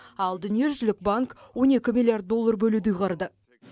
ал дүниежүзілік банк он екі миллиард доллар бөлуді ұйғарды